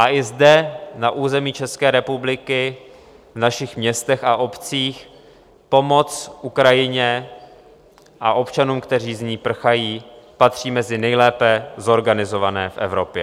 A i zde, na území České republiky, v našich městech a obcích, pomoc Ukrajině a občanům, kteří z ní prchají, patří mezi nejlépe zorganizované v Evropě.